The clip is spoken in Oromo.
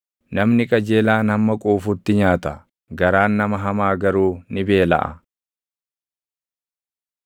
Namni qajeelaan hamma quufutti nyaata; garaan nama hamaa garuu ni beelaʼa.